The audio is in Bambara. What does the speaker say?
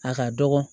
A ka dɔgɔ